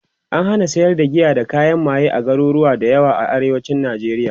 an hana sayar da giya da kayan maye a garuruwa da yawa a arewacin nijeriya